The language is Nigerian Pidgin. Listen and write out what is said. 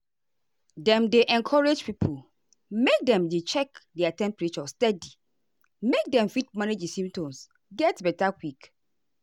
dem dey encourage pipo make dem dey check their temperature steady make dem fit manage di symptoms get beta quick.